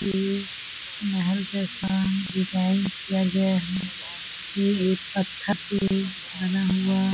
एक महल जैसा डिजाइन किया गया है ये एक पत्थर से बना हुआ --